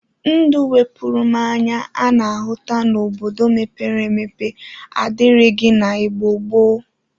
Ndụ 'wepụrụ mụ anya' a na-ahụta n'obodo mepere emepe adịrighi na Igbo gboo